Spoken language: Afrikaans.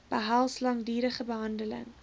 behels langdurige behandeling